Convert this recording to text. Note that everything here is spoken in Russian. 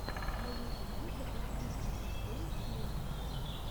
на ютубе запусти пи ди кей филмс